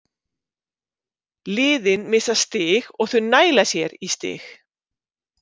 Liðin missa stig og þau næla sér í stig.